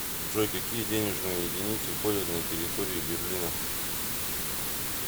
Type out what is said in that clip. джой какие денежные единицы ходят на территории берлина